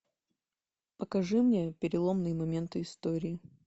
покажи мне переломные моменты истории